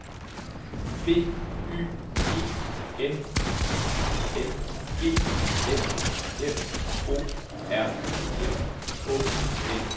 B Y G N I N G S F O R M Å L